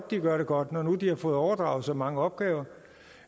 de gør det godt når nu de har fået overdraget så mange opgaver